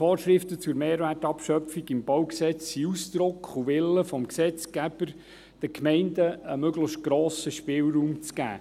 Die Vorschriften zur Mehrwertabschöpfung im BauG sind Ausdruck und Wille des Gesetzgebers, den Gemeinden einen möglichst grossen Spielraum zu geben.